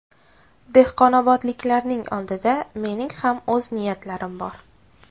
Dehqonobodliklarning oldida mening ham o‘z niyatlarim bor.